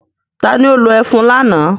Ta ni ó lo ẹfun lánàá?